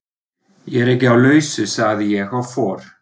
Ég er ekki á lausu sagði ég og fór.